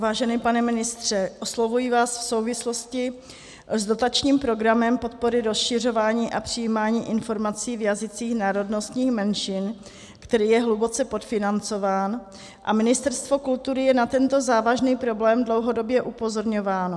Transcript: Vážený pane ministře, oslovuji vás v souvislosti s dotačním programem Podpora rozšiřování a přijímání informací v jazycích národnostních menšin, který je hluboce podfinancován, a Ministerstvo kultury je na tento závažný problém dlouhodobě upozorňováno.